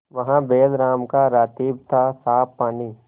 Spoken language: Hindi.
वहाँ बैलराम का रातिब थासाफ पानी